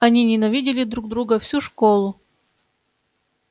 они ненавидели друг друга всю школу